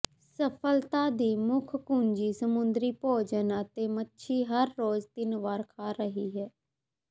ਸਫਲਤਾ ਦੀ ਮੁੱਖ ਕੁੰਜੀ ਸਮੁੰਦਰੀ ਭੋਜਨ ਅਤੇ ਮੱਛੀ ਹਰ ਰੋਜ਼ ਤਿੰਨ ਵਾਰ ਖਾ ਰਹੀ ਹੈ